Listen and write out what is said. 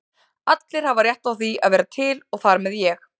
Allir hafa rétt á að vera til og þar með ég.